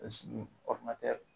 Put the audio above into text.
pasigi ɔridinatɛri